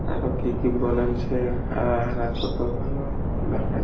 আরো কি কি বলেনছে তাহারা কত ভালো দেখা যা--